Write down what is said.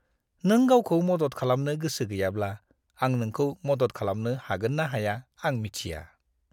नों गावखौ मदद खालामनो गोसो गैयाब्ला, आं नोंखौ मदद खालामनो हागोन ना हाया आं मिथिया!